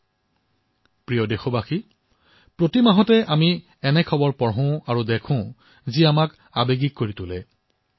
মোৰ মৰমৰ দেশবাসীসকল প্ৰতিটো মাহত আমি এনে খবৰ পঢ়ো আৰু দেখো যিয়ে আমাক ভাবুক কৰি তোলে